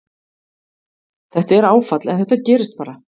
Þetta er áfall en þetta gerist bara.